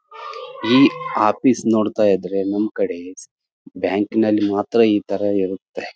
ಈ ಆಫೀಸ್ ನೋಡ್ತಾ ಇದ್ರೆ ನಮ್ ಕಡೆ ಬ್ಯಾಂಕಿನಲ್ಲಿ ಮಾತ್ರ ಈ ತರ ಇರುತ್ತೆ-